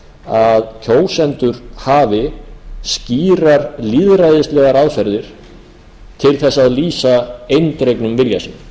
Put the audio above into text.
að kjósendur hafi skýrar lýðræðislegar aðferðir til þess að lýsa eindregnum vilja